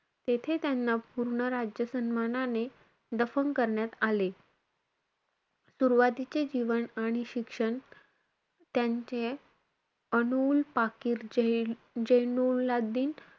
तेथे त्यांना पूर्ण राज्य सन्मानाने दफन करण्यात आले. सुरवातीचे जीवन आणि शिक्षण त्यांचे, अनुउल पाकीर जे~ जेनुल्लादिन,